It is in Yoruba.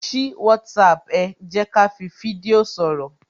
Ṣí WhatsApp ẹ, jẹ́ kí á fi fídíò sọ̀rọ̀